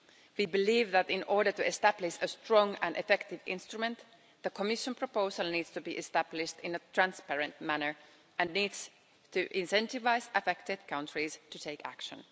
We believe that in order to establish a strong and effective instrument, the Commission proposal needs to be established in a transparent manner and needs to incentivise affected countries to take action.